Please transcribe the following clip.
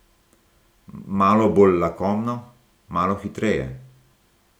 Malo bolj lakomno, malo hitreje.